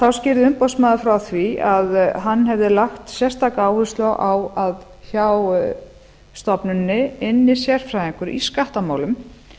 þá skýrði umboðsmaður frá því að hann hefði lagt sérstaka áherslu á að hjá stofnuninni ynni sérfræðingur í skattamálum